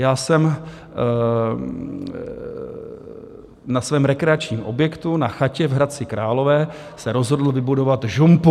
Já jsem na svém rekreačním objektu, na chatě v Hradci Králové, se rozhodl vybudovat žumpu.